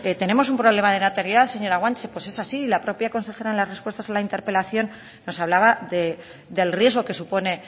tenemos un problema de natalidad señora guanche pues es así la propia consejera en la respuestas a la interpelación nos hablaba del riesgo que supone